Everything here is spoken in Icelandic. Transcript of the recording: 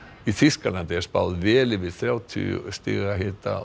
í Þýskalandi er spáð vel yfir þrjátíu stiga hita